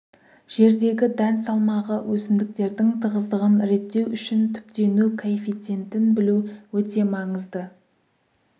жердегі дән салмағы өсімдіктердің тығыздығын реттеу үшін түптену коэффициентін білу өте маңызды